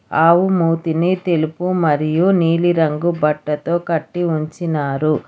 ఆవు మూతిని తెలుపు మరియు నీలిరంగు బట్టతో కట్టి ఉంచినారు.